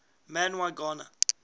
man y gana